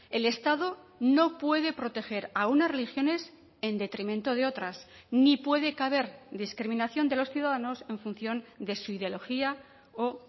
el estado no puede proteger a unas religiones en detrimento de otras ni puede caber discriminación de los ciudadanos en función de su ideología o